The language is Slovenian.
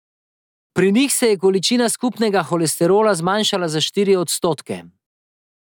Pri njih se je količina skupnega holesterola zmanjšala za štiri odstotke.